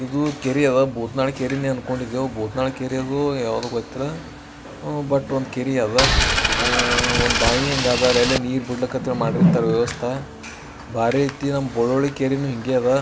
ಇದು ಕೆರಿಯದ ಬೋತ್ನಾಳ್ ಕೆರೆನ ಅನ್ಕೊಂಡಿದ್ದವ ಭೂತ್ನಾಳ್ ಕೆರೆದೊ ಯಾವ್ದೋ ಗೊತ್ತಿಲ್ಲ ಹೂ ಬಟ್ ಒಂದ್ ಕೆರಿಯದ ಒಂಹಾ ಬಾಯಿಯಂಗ ಅದ ಅಲ್ಲಿ ನೀರ್ ಬುಡಕ ಮಾಡಿರ್ತಾರ ವ್ಯವಸ್ಥ ಬಾರಿ ಐತಿ ಬೋಳಾಲ್ ಕೆರೇನು ಇಂಗೆ ಅದ.